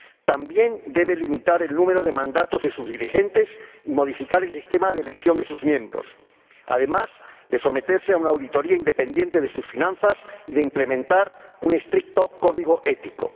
También debe limitar el número de mandatos de sus dirigentes y modificar el sistema de elección de sus miembros, además de someterse a una auditoría independiente de sus finanzas y de implementar un estricto código ético.